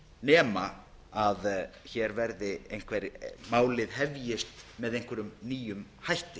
nema hér verði einhver málið hefjist með einhverjum nýjum hætti